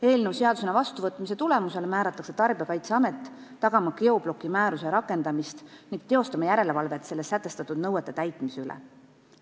Eelnõu seadusena vastuvõtmise tulemusena määratakse Tarbijakaitseamet tagama geobloki määruse rakendamist ning tegema järelevalvet selles sätestatud nõuete täitmise üle.